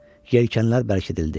Yelkənlər bərkidi.